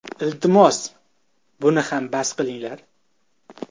Iltimos, buni ham bas qilinglar.